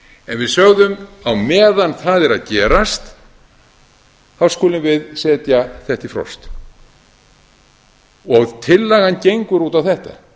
en við sögðum á meðan það er að gerast skulum við setja þetta í frost tillagan gengur út á þetta